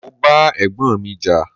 Mo bá Ẹ̀gbọ́n mi jà.